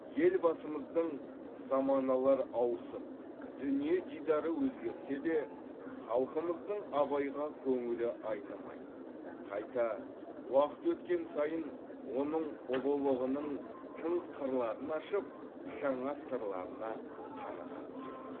елбасымыздың заманалар ауысып дүние дидары өзгерсе де халқымыздың абайға көңілі айнымайды қайта уақыт өткен сайын оның ұлылығының тың қырларын ашып жаңа сырларына қаныға түседі